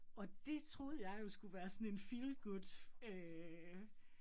Og det troede jeg jo skulle være sådan en feel good øh